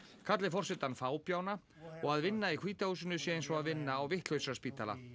kalli forsetann fábjána og að vinna í hvíta húsinu sé eins og að vinna á